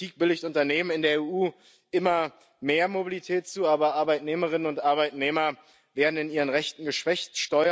Diese Politik billigt Unternehmen in der EU immer mehr Mobilität zu, aber Arbeitnehmerinnen und Arbeitnehmer werden in ihren Rechten geschwächt.